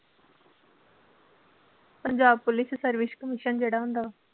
Punjab police ਚ service commission ਜਿਹੜਾ ਹੁੰਦਾ।